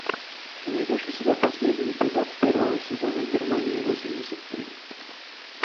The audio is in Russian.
ты найдешь у себя последний эпизод первого сезона германии восемьдесят три